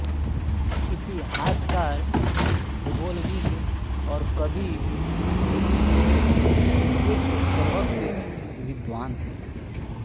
इतिहासकार भूगोलविद और कवि गुमिल्योव एक सर्वज्ञ विद्वान थे